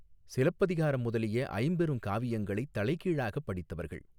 சிலப்பதிகாரம் முதலிய ஐம்பெருங் காவியங்களைத் தலைகீழாகப் படித்தவர்கள்.